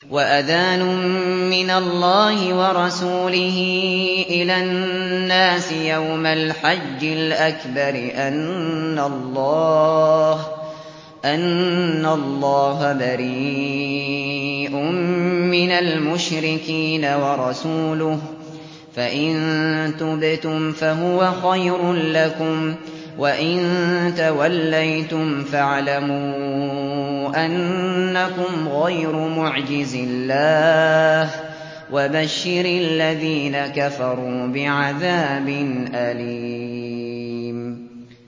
وَأَذَانٌ مِّنَ اللَّهِ وَرَسُولِهِ إِلَى النَّاسِ يَوْمَ الْحَجِّ الْأَكْبَرِ أَنَّ اللَّهَ بَرِيءٌ مِّنَ الْمُشْرِكِينَ ۙ وَرَسُولُهُ ۚ فَإِن تُبْتُمْ فَهُوَ خَيْرٌ لَّكُمْ ۖ وَإِن تَوَلَّيْتُمْ فَاعْلَمُوا أَنَّكُمْ غَيْرُ مُعْجِزِي اللَّهِ ۗ وَبَشِّرِ الَّذِينَ كَفَرُوا بِعَذَابٍ أَلِيمٍ